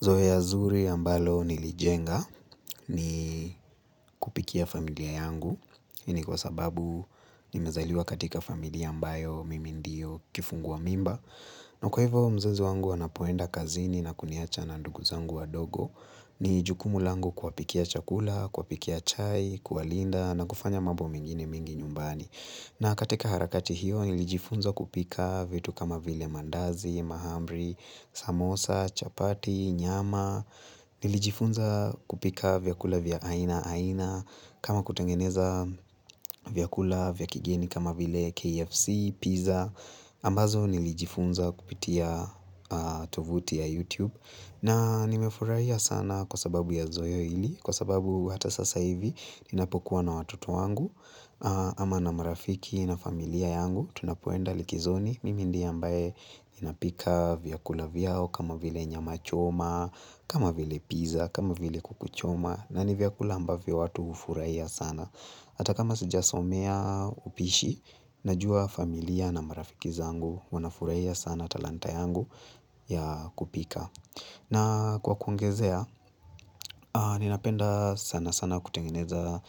Zoea zuri ambalo nilijenga ni kupikia familia yangu. Hii ni kwa sababu nimezaliwa katika familia ambayo mimi ndio kifungua mimba. Na kwa hivyo mzazi wangu anapoenda kazini na kuniacha na ndugu zangu wa dogo. Ni jukumu langu kuwapikia chakula, kuwapikia chai, kuwalinda na kufanya mambo mengine mingi nyumbani. Na katika harakati hiyo nilijifunza kupika vitu kama vile maandazi, maahamri, samosa, chapati, nyama, nilijifunza kupika vyakula vya aina aina, kama kutengeneza vyakula vya kigeni kama vile KFC, pizza, ambazo nilijifunza kupitia tovuti ya YouTube. Na nimefurahia sana kwa sababu ya zoea hili, kwa sababu hata sasa hivi ninapokuwa na watoto wangu Ama na marafiki na familia yangu, tunapoenda likizoni Mimi ndiyo ambaye ninapika vyakula vyao kama vile nyama choma, kama vile pizza, kama vile kukuchoma na nivyakula ambavyo watu hufuraia sana Hata kama sijasomea upishi, najua familia na marafiki zangu wanafurahia sana talanta yangu ya kupika na kwa kuongezea, ninapenda sana sana kutengeneza